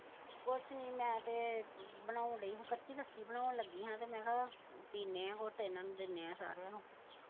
ਕੁਛ ਨਹੀਂ ਮੈਂ ਤੇ ਬਣਾਉਣ ਦਈ ਹਾ ਕੱਚੀ ਲੱਸੀ ਬਣਾਉਣ ਲੱਗੀ ਹਾ ਮੈਂ ਹਾ ਪੀ ਨੇ ਆ ਤੇ ਹੋਰ ਤੇ ਇਨ੍ਹਾਂ ਨੂੰ ਦਿਨੇ ਆ ਸਾਰਿਆਂ ਨੂੰ ਹਾਂਜੀ